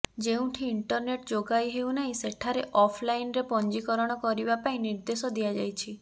ଯେଉଁଠି ଇଣ୍ଟରନେଟ୍ ଯୋଗାଇ ହେଉନାହିଁ ସେଠାରେ ଅଫ୍ ଲାଇନ୍ରେ ପଞ୍ଜିକରଣ କରିବା ପାଇଁ ନିର୍ଦେଶ ଦିଆଯାଇଛି